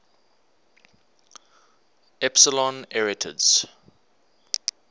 epsilon arietids